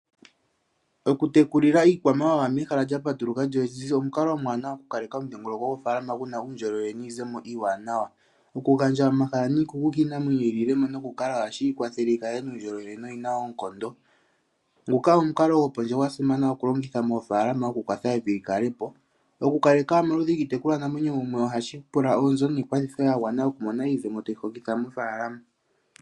Oku tekulilwa iikwamawawa mehala lya patuluka olyo omukalo omuwanawa oku kaleka omudhingoloko gwofaalama guna uundjolowele niizemo iiwanawa. Okugandja omahala niikuku kiinamwenyo yimwe ohashi kwathele yikale yina uundjolowele noyina oonkondo. Nguka omukalo gwasimana oku longitha moofalama moku kwatha evi likalepo . Oku kaleka omaludhi giitekulwa namwenyo ohashi pula oonzo niikwathitho yagwana oku mona iizemo tayi hokitha mofaalama